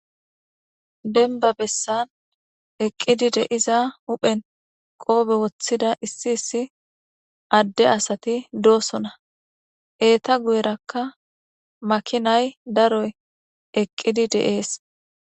Denba bessan eqqidi deiza huphen qoobe woththida issi issi adde asati doosona eeta guyerakka makinay daroy eqqidi deees.